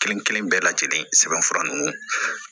Kelen kelen bɛɛ lajɛlen sɛbɛnfura nunnu